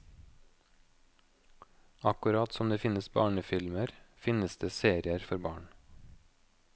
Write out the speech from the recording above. Akkurat som det finnes barnefilmer, finnes det serier for barn.